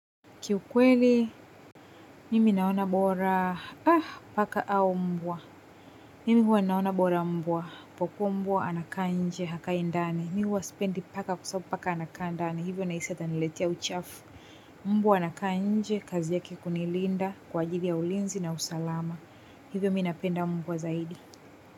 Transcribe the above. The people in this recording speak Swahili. Kiukweli, mimi naona bora, paka au mbwa. Mimi huwa naona bora mbwa, kwa kuwa mbwa anakaa nje, hakai ndani. Mi huwa sipendi paka kwa sababu paka anakaa ndani. Hivyo nahisi ataniletea uchafu. Mbwa anakaa nje, kazi yake kunilinda, kwa ajili ya ulinzi na usalama. Hivyo mi napenda mbwa zaidi.